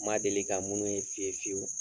N ma deli ka minnu ye fiyewu-fiyewu